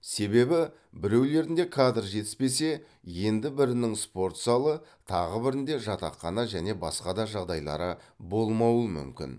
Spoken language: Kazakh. себебі біреулерінде кадр жетіспесе енді бірінің спорт залы тағы бірінде жатақхана және басқа да жағдайлары болмауы мүмкін